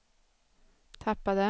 tappade